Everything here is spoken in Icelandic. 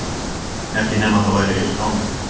Ekki nema það væri yrt á mig.